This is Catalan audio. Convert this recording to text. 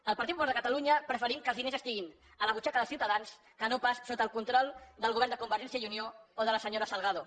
el partit popular de catalunya preferim que els diners estiguin a la butxaca dels ciutadans que no pas sota el control del govern de convergència i unió o de la senyora salgado